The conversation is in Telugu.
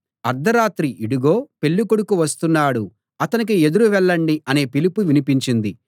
అర్థరాత్రి ఇడుగో పెళ్ళికొడుకు వస్తున్నాడు అతనికి ఎదురు వెళ్ళండి అనే పిలుపు వినిపించింది